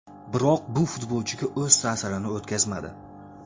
Biroq bu futbolchiga o‘z ta’sirini o‘tkazmadi.